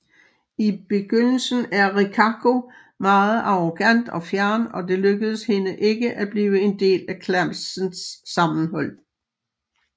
I begyndelsen er Rikako meget arrogant og fjern og det lykkedes hende ikke at blive en del af klassens sammenhold